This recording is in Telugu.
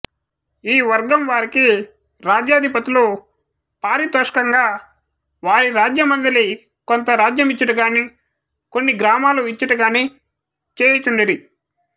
ఈ వర్గము వారికి రాజ్యాధిపతులు పారితోషముగా వారి రాజ్యమందలి కొంత రాజ్యమిచ్చుట గాని కొన్ని గ్రామములను ఇచ్చుట గాని చేయుచుండిరి